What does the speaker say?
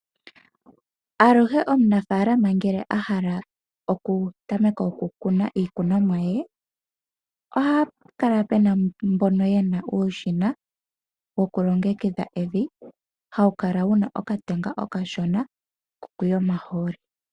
Aluhe omunafalaama ngele a hala okutameka okukuna iikunomwa ye ohapu kala mboka yena uushina wuna okatenga okashona kokuya omahooli.